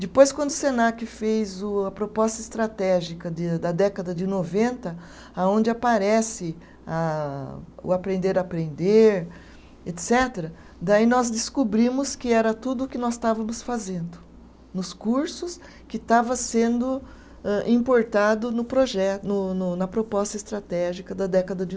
Depois, quando o Senac fez o a proposta estratégica de da década de noventa, aonde aparece ah, o aprender-aprender, etcetera, daí nós descobrimos que era tudo o que nós estávamos fazendo, nos cursos que estava sendo âh, importado no proje, no no na proposta estratégica da década de